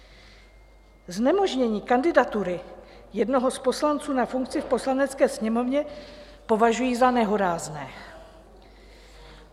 Znemožnění kandidatury jednoho z poslanců na funkci v Poslanecké sněmovně považuji za nehorázné.